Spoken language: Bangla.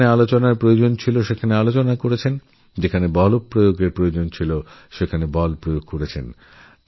যেখানে মর্যাদা সম্মান দেওয়ার প্রয়োজন দিয়েছেন আবার যেখানে বলপ্রয়োগের প্রয়োজনহয়েছে বলপ্রয়োগ করেছেন